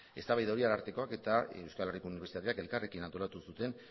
eztabaida hori arartekoak eta euskal herriko unibertsitateak elkarrekin antolatu zuten